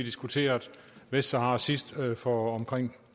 diskuterede vestsahara sidst for omkring